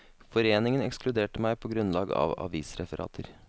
Foreningen ekskluderte meg på grunnlag av avisreferater.